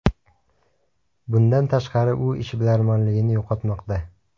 Bundan tashqari, u ishbilarmonligini yo‘qotmoqda.